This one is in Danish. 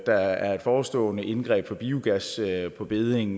der er et forestående indgreb over for biogas på bedding